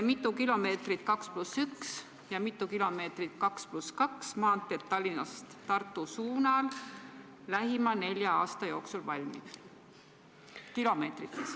Mitu kilomeetrit 2 + 1 maanteed ja mitu kilomeetrit 2 + 2 maanteed Tallinnast Tartu suunal lähima nelja aasta jooksul valmib?